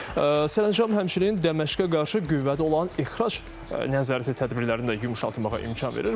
Sərəncam həmçinin Dəməşqə qarşı qüvvədə olan ixrac nəzarəti tədbirlərini də yumşaltmağa imkan verir.